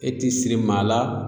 E ti siri maa la